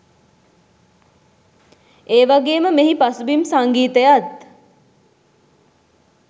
ඒවගේම මෙහි පසුබිම් සංගීතයත්